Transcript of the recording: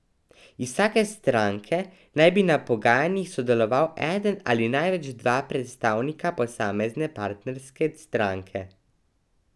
Iz vsake stranke naj bi na pogajanjih sodeloval eden ali največ dva predstavnika posamezne partnerske stranke.